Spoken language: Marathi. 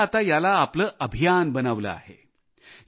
लोकांनी आता याला आपले अभियान बनविले आहे